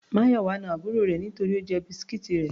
Mayowa na àbúrò rẹ̀ nítorí Ó jẹ biscuits rẹ̀.